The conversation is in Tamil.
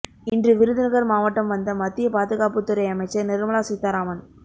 இன்று விருதுநகர் மாவட்டம் வந்த மத்திய பாதுகாப்புத்துறை அமைச்சர் நிர்மலா சீதாராமன்